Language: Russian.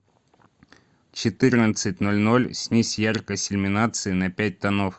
в четырнадцать ноль ноль снизь яркость иллюминации на пять тонов